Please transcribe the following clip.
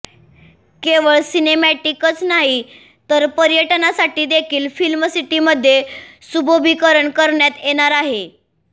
केवळ सिनेमॅटिकच नाही तर पर्यटनासाठी देखील फिल्मसिटीमध्ये सुशोभिकरण करण्यात येणार आहे